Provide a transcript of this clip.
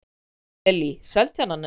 Lillý: Seltjarnarnes?